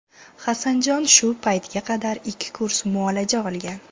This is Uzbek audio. Hasanjon shu paytga qadar ikki kurs muolaja olgan.